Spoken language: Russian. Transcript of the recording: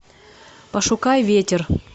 пошукай ветер